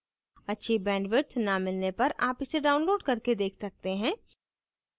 अच्छी bandwidth न मिलने पर आप इसे download करके देख सकते हैं